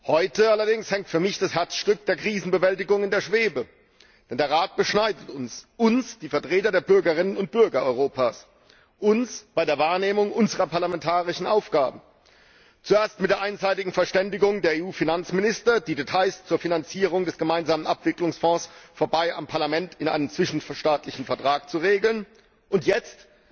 Heute allerdings hängt für mich das Herzstück der Krisenbewältigung in der Schwebe Denn der Rat beschneidet uns uns, die Vertreter der Bürgerinnen und Bürger Europas bei der Wahrnehmung unserer parlamentarischen Aufgaben zuerst mit der einseitigen Verständigung der EU Finanzminister, die Details zur Finanzierung des gemeinsamen Abwicklungsfonds vorbei am Parlament in einem zwischenstaatlichen Vertrag zu regeln, und jetzt